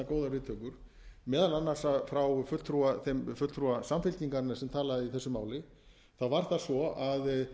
viðtökur meðal annars frá þeim fulltrúa samfylkingarinnar sem talaði í þessu máli var það svo að